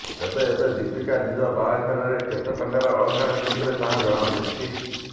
ତେବେ ଏବେ ଦୀପିକା ନିଜ ବାହାଘରରେ କେତେ ଟଙ୍କାର ଅଳଙ୍କାର ପିନ୍ଧିବେ ତାହା ଜଣା ପଡ଼ିଛି